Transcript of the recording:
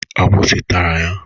Agbụsị tara ya